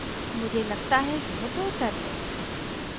मुझे लगता है यह बेहतर है